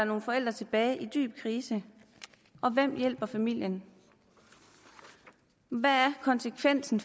nogle forældre tilbage i dyb krise og hvem hjælper familien hvad er konsekvensen